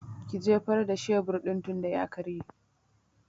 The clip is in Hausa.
Ki jefar da shebur din tinda ya karye!